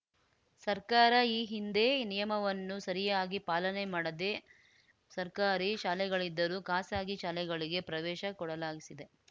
ಸರ್ಕಾರ ಈ ಹಿಂದೆ ನಿಯಮವನ್ನು ಸರಿಯಾಗಿ ಪಾಲನೆ ಮಾಡದೆ ಸರ್ಕಾರಿ ಶಾಲೆಗಳಿದ್ದರೂ ಖಾಸಗಿ ಶಾಲೆಗಳಿಗೆ ಪ್ರವೇಶ ಕೊಡಲಾಗಿಸಿದೆ